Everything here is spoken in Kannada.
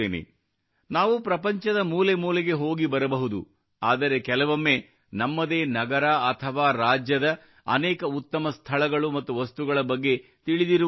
ನಾವು ಪ್ರಪಂಚದ ಮೂಲೆ ಮೂಲೆಗೆ ಹೋಗಿ ಬರಬಹುದು ಆದರೆ ಕೆಲವೊಮ್ಮೆ ನಮ್ಮದೇ ನಗರ ಅಥವಾ ರಾಜ್ಯದ ಅನೇಕ ಉತ್ತಮ ಸ್ಥಳಗಳು ಮತ್ತು ವಸ್ತುಗಳ ಬಗ್ಗೆ ತಿಳಿದಿರುವುದೇ ಇಲ್ಲ